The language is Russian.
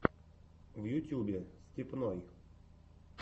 в ютюбе степной